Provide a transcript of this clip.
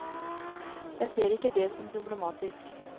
Jeg ser ikke det som problematisk.